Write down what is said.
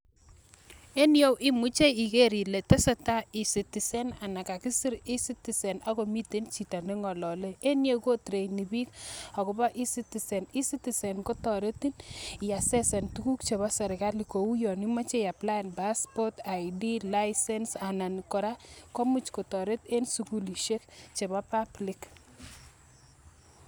En iyeu imuche igeer ilee tesetai e citizen anan kagisir e citizen ak komiten chito nengololee, en iyeu kotreineni piik ak kobo e citizen ,e citizen kotoretin iaccesen tuguk chebo sirkali kouu yon imoche iaplaen passport ,ID, Licence anan koraa komuch kotoret en sugulisiek chebo Public